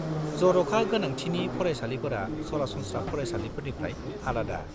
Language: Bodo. जर'खा गोनांथिनि फरायसालिफोरा सरासनस्रा फरायसालिनिफ्राय आलादा।